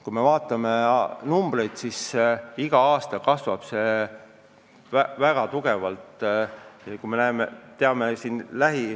Kui me vaatame numbreid, siis näeme, et iga aastaga kasvab see osakaal kõvasti.